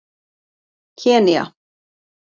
Kenýa